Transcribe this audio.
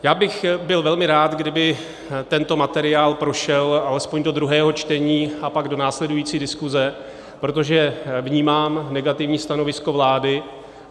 Já bych byl velmi rád, kdyby tento materiál prošel alespoň do druhého čtení a pak do následující diskuse, protože vnímám negativní stanovisko vlády.